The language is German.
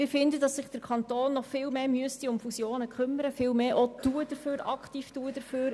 Wir finden, der Kanton müsste sich noch viel mehr um Fusionen kümmern und sich aktiv dafür einsetzen.